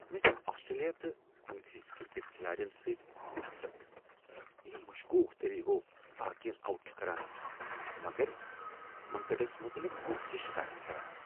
مےٚ چھےٚ آسٹریلیا تہٕ انگریز کرکٹ کھلاڑین سۭتۍ نفرت یم مشکوک طریقو باقین آؤٹ چھ کران مگر منکڈنگس متعلق چھ شکایت کران۔